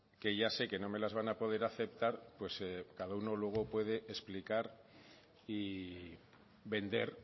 que ya sé que no me las van a poder aceptar pues cada uno luego puede explicar y vender